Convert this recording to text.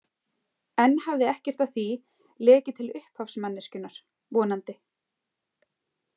Enn hafði ekkert af því lekið til upphafsmanneskjunnar, vonandi.